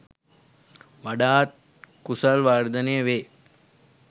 වඩාත් කුසල් වර්ධනය වේ.